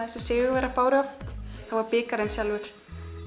sigurvegararnir báru oft þá var bikarinn sjálfur